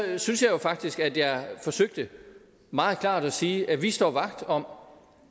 synes jo faktisk at jeg forsøgte meget klart at sige at vi står vagt om